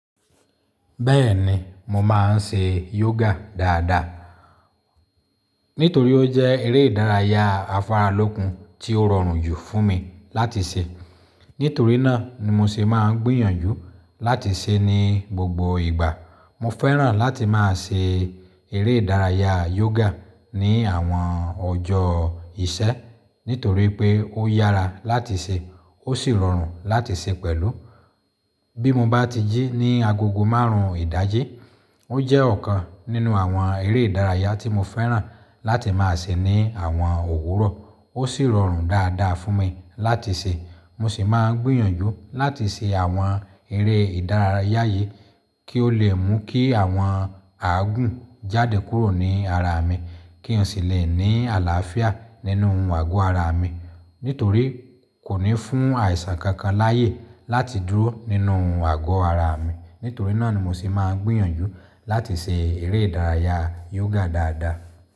Bẹ́ẹ̀ni, mo máa ń ṣe yoga dáadáa. Nítorí ó jẹ́ eré ìdárayá afáralókun tí ó rọrùn jù fún mi láti ṣe. Nítorí náà ni mo ṣe máa ń gbìyànjú láti ṣe é ní gbogbo ìgbà. Mo fẹ́ràn láti máa ṣe eré ìdárayá yoga ní àwọn ọjọ́ ìṣẹ́ nítorí pé ó yára láti ṣe, ó sì rọrùn láti ṣe pẹ̀lú. Bí mo bá ti jí ní agogo márùn-ún ìdájí, ó jẹ́ ọ̀kan nínú àwọn eré ìdárayá tí mo fẹ́ràn láti máa ṣe ní àwọn òwúrọ̀. Ó sì rọrùn dáadáa fún mi láti ṣe. Mo sì máa ń gbìyànjú láti ṣe àwọn eré ìdárayá yìí kí ó lè mú kí àwọn àgùn jáde kúrò ní ara mi. Kí n sì lè ní àlàáfíà nínú àgọ́ ara mi. Nítorí kò ní fún àìsàn kankan láyè láti dúró nínú àgọ́ ara mi. Nítorí náà ni mo sì máa ń gbìyànjú láti ṣe eré ìdárayá yoga dáadáa.